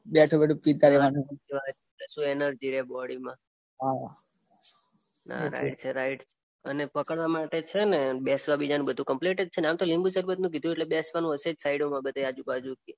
બેઠું બેઠું પિતા રેવાનું. તો એનર્જી રે બોડીમાં. ના ના રાઈટ. અને પકડવા માટે છે ને બેસવા માટે કંઈક કમ્પ્લીટ છે ને આમતો લીંબુ સરબત છે એટલે બેસવાનું હશે સાઈડોમાં આજુબાજુ બધું.